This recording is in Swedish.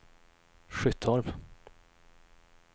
Skyttorp